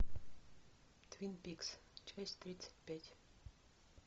твин пикс часть тридцать пять